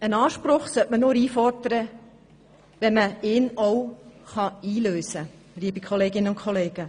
Einen Anspruch sollte man nur einfordern, wenn man ihn auch einlösen kann, liebe Kolleginnen und Kollegen.